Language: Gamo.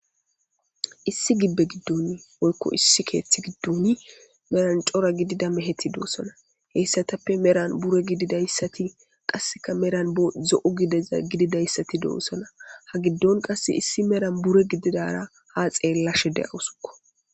issi gibbe giddon woyko issi keeththi giddoni meran cora gidida me heti doossona heyssatappe meran bure gididayssati qasseka meran bo zo7u gideza gididayssati doossona ha giddon qasse issi meran bure gididara ha xeellashe de'awusukko